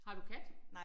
Har du kat?